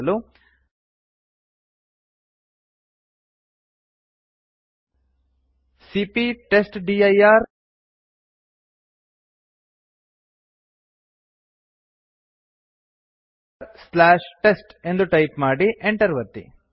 ಹೀಗೆ ಮಾಡಲು ಸಿಪಿಯ ಟೆಸ್ಟ್ಡಿರ್ ಟೆಸ್ಟ್ ಎಂದು ಟೈಪ್ ಮಾಡಿ enter ಒತ್ತಿ